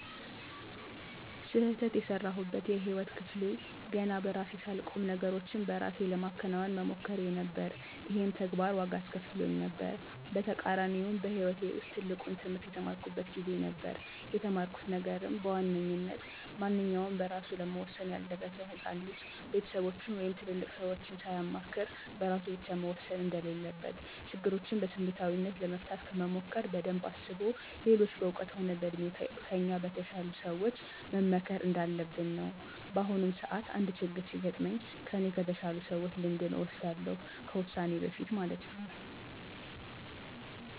ስህተት የሰራሁበት የህይወት ክፍሌ ገና በራሴ ሳልቆም ነገሮችን በእራሴ ለማከናወን መሞከሬ ነበር። ይሄም ተግባር ዋጋ አስከፍሎኝ ነበር። በተቃራኒውም በህይወቴ ውስጥ ትልቁን ትህምርት የተማርኩት ጊዜ ነበር። የተማርኩት ነገርም በዋነኝነት ማንኛውም በእራሱ ለመወሠን ያልደረሰ ህፃን ልጅ ቤተሰቦቹን ወይም ትልልቅ ሰዎችን ሳያማክር በእራሱ ብቻ መወሰን እንደሌለበት፤ ችግሮችን በስሜታዊነት ለመፍታት ከመሞከር በደንብ አስቦ ሌሎች በእውቀት ሆነ በእድሜ ከእኛ በተሻሉ ሰዎች መመከር እንዳለብን ነው። በአሁኑም ሰዓት አንድ ችግር ሲገጥመኝ ከኔ ከተሻሉ ሰዎች ልምድን እወስዳለሁ ከዉሳኔ በፊት ማለት ነው።